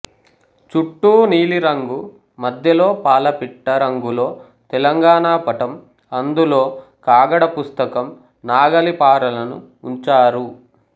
చుట్టూ నీలిరంగు మధ్యలో పాలపిట్ట రంగులో తెలంగాణ పటం అందులో కాగడ పుస్తకం నాగలి పారలను ఉంచారు